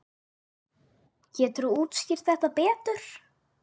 Geturðu útskýrt þetta betur?